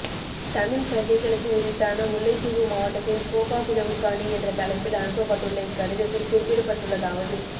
தமிழ்ப் பிரஜைகளுக்கு உரித்தான முல்லைத்தீவு மாவட்டத்தின் கேப்பாபிலவுக் காணி என்ற தலைப்பில் அனுப்ப பட்டுள்ள இக்கடிதத்தில் குறிப்பிடப்பட்டுள்ளதாவது